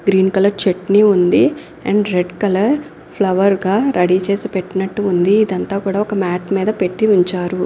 Green colour chutney ఉంది and red colour flower గా ready చేసి పెట్టినట్టు ఉంది ఇదంతా కూడా ఒక మాట్ మీద పెట్టి ఉంచారు.